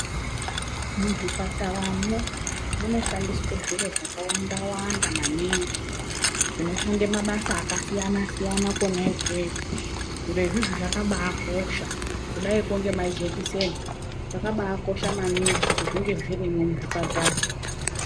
Muzvipataramwo munoshandiswa zviro zvakawanda wanda maningi zvinoshanda mabasa akasiyana siyana kwona ikweyo zviro izvizvi zvakabakosha kudaikwo ngemajekiseni zvakabakosha maningi kuti zvinge zvirimwo muzvipatara.